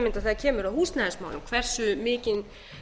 mynda þegar kemur að húsnæðismálum hversu